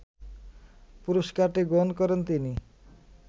পুরস্কারটি গ্রহণ করেন তিনি